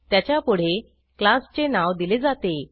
त्याच्यापुढे क्लासचे नाव दिले जाते